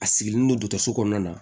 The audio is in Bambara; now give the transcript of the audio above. A sigilen don dɔgɔtɔrɔso kɔnɔna na